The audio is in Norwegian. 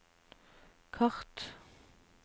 kart